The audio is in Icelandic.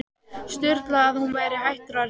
Sturlu að hann væri hættur að yrkja.